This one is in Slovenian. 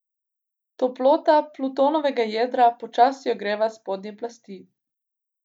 Toplota Plutonovega jedra počasi ogreva spodnje plasti.